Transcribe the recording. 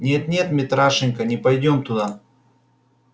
нет нет митрашенька не пойдём туда